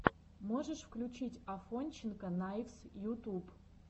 можешь включить афонченко найвз ютуб